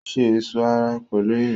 Ó ṣe ẹ̀sọ́ ara pẹ̀lú irin